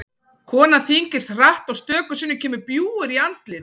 Konan þyngist hratt og stöku sinnum kemur bjúgur í andlit.